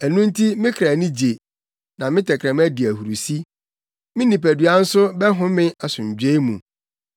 Ɛno nti me kra ani gye, na me tɛkrɛma di ahurusi. Me nipadua nso bɛhome asomdwoe mu.